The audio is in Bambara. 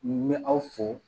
N bɛ aw fo